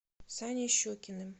саней щукиным